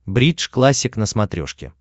бридж классик на смотрешке